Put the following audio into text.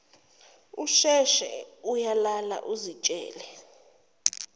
usheshe uyalala uzitshele